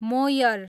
Moyer